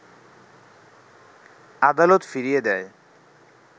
আদালত ফিরিয়ে দেয়